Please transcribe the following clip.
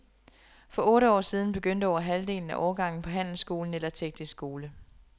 For otte år siden begyndte over halvdelen af årgangen på handelsskolen eller teknisk skole.